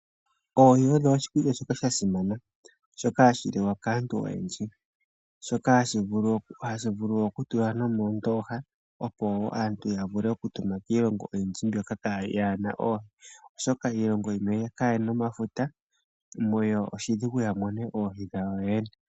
Oohi odho oshikulya shoka sha simana shoka hashi liwa kaantu oyendji, shoka hashi vulu okutulwa nomoondoha, opo wo aantu ya vule okutuma kiilonga oyindji mbyoka kaa yi na oohi, oshoka iilongo yimwe kayena omafuta muyo oshidhigu ya mone oohi dhayo yene.